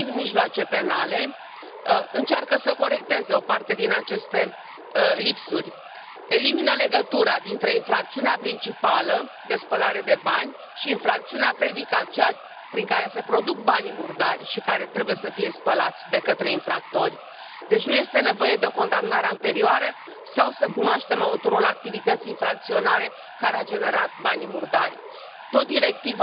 Hát legalább egymást ne nézzük hülyének, kedves képviselőtársaim! Mindnyájan tudjuk, hogy mást jelent a tartózkodás és más jelent az, hogy ha úgy döntök, hogy nem jövök be szavazni. Hadd mondjak két magyar képviselőtársamat példaként. Balczó Zoltán korrektül elmondta, vannak a jelentésnek elemei, amivel egyetért, vannak, amelyekkel nem, ezért hozott egy olyan racionális, mérlegelt döntést, amely tartózkodás szavazatban nyilvánult